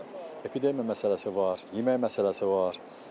Sonra epidemiya məsələsi var, yemək məsələsi var.